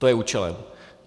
To je účelem.